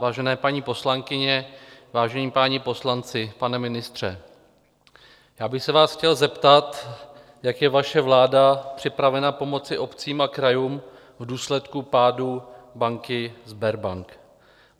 Vážené paní poslankyně, vážení páni poslanci, pane ministře, já bych se vás chtěl zeptat, jak je vaše vláda připravena pomoci obcím a krajům v důsledku pádu banky Sberbank.